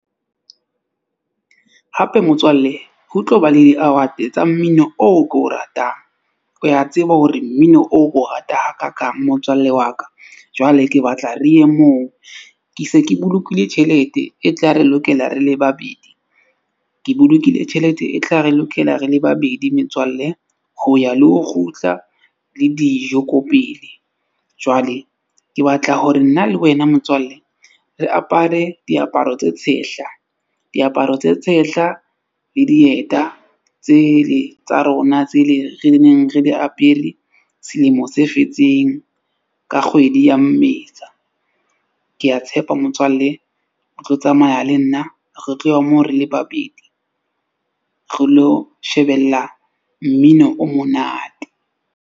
Hape motswalle ho tlo ba le di-award-e tsa mmino oo ke o ratang. O ya tseba hore mmino o ko rata hakakaang motswalle wa ka. Jwale ke batla re ye moo ke se ke bolokile tjhelete e tla re lokela re le babedi. Ke bolokile tjhelete e tla re lokela re le babedi metswalle. Ho ya le ho kgutla le dijo ko pele. Jwale ke batla hore nna le wena motswalle re apare diaparo tse tshehla, diaparo tse tshehla le dieta tsele tsa rona tsele re neng re di apere selemo se fetseng ka kgwedi ya Mmesa. Ke a tshepa motswalle o tlo tsamaya le nna re tlo ya moo re le babedi. Re lo shebella mmino o monate.